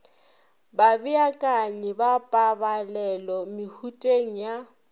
babeakanyi ba pabalelo mehuteng ya